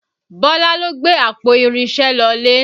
Bọlá ló gbé àpò irinṣẹ́ lọlé